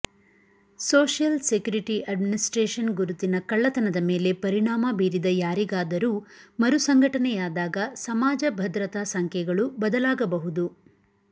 social security administration ಗುರುತಿನ ಕಳ್ಳತನದ ಮೇಲೆ ಪರಿಣಾಮ ಬೀರಿದ ಯಾರಿಗಾದರೂ ಮರುಸಂಘಟನೆಯಾದಾಗ ಸಮಾಜ ಭದ್ರತಾ ಸಂಖ್ಯೆಗಳೂ ಬದಲಾಗಬಹುದು